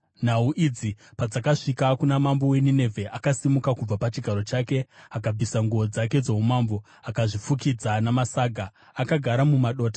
Nhau idzi padzakasvika kuna mambo weNinevhe, akasimuka kubva pachigaro chake, akabvisa nguo dzake dzoumambo, akazvifukidza namasaga akagara mumadota.